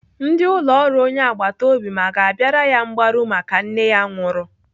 Ndị ụlọ ọrụ onye agbataobi m aga abịara ya mgbaru maka nne ya nwụrụ?